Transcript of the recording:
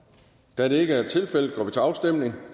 da det ikke er tilfældet går vi til afstemning